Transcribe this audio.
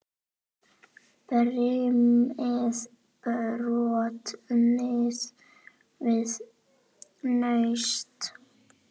Brimið brotnar við naust.